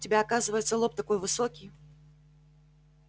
у тебя оказывается лоб такой высокий